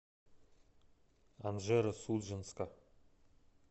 анжеро судженска